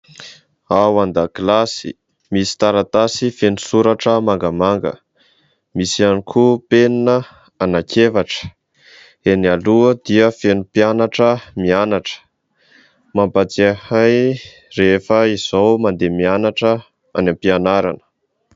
Ao an-dakilasy misy taratasy feno soratra mangamanga ; misy ihany koa penina anankiefatra. Eny aloha dia feno mpianatra mianatra ; mampatsiahy ahy rehefa izaho mandeha mianatra any ampianarana.